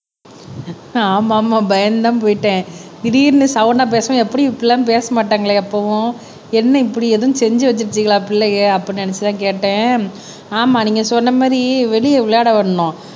ஆமா ஆமா பயந்துதான் போயிட்டேன் திடீர்ன்னு சவுண்ட்டா பேசவும் எப்படியும் இப்படி எல்லாம் பேச மாட்டாங்களே எப்பவும் என்ன இப்படி எதுவும் செஞ்சு வச்சுருச்சுங்களா பிள்ளைங்க அப்படின்னு நினைச்சுதான் கேட்டேன். ஆமா நீங்க சொன்ன மாதிரி வெளியே விளையாட விடணும்